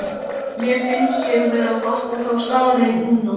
Mér finnst ég vera að fatta þá staðreynd núna.